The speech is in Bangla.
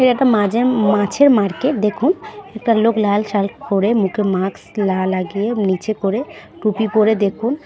এ একটা মাঝে-উ মাছের মার্কেট দেখুন একটা লোক লাল শার্ট পড়ে মুখে মাক্স লা লাগিয়ে নিচে করে টুপি পড়ে দেখুন--